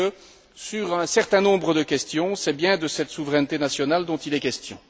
est il que, sur un certain nombre de points, c'est bien de cette souveraineté nationale dont il est question.